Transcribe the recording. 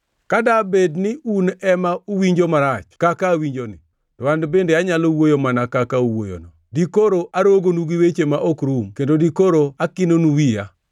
Ka dabed ni un ema uwinjo marach kaka awinjoni, to an bende anyalo wuoyo mana kaka uwuoyono; dikoro arogonu gi weche ma ok rum kendo dikoro akinonu wiya.